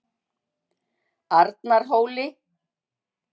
Arnarhóli